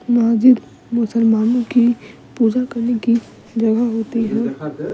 महजिद मुसलमानो की पूजा करने की जगह होती है।